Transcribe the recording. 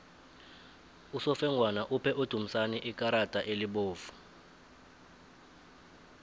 usofengwana uphe udumisani ikarada elibovu